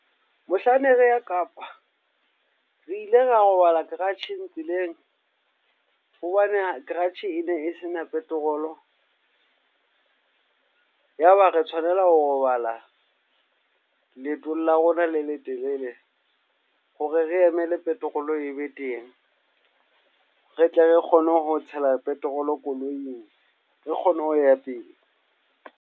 Mohlang ne re ya Kapa, re ile ra robala garage-eng tseleng, hobane ya garage ene e sena petrol-o. Ya ba re tshwanela ho robala leetong la rona le letelele hore re emele petrol-o ebe teng. Re tle re kgone ho tshela petrol-o koloing, re kgone ho ya pele.